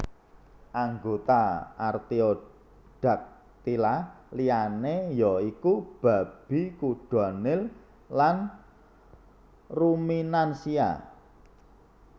Anggota Artiodactyla liyané ya iku babi kuda nil lan ruminansia